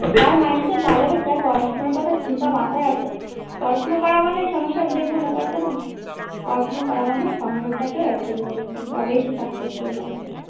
যা হবে যা পড়াশোনার কথা চিন্তা মাথায় আছে পড়াশোনা করা মানে সংসার দেখবো না তা তো নয়। পড়াশুনা করা মানে সংসারটাকে এক জায়গায় তবেই সে success life এ।